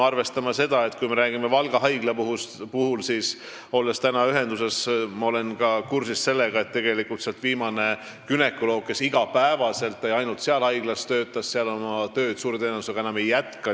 Kui me räägime Valga haiglast, siis olles täna olnud selle haiglaga ühenduses, olen ma kursis sellega, et viimane günekoloog, kes iga päev ja ainult seal haiglas töötas, oma tööd seal suure tõenäosusega enam ei jätka.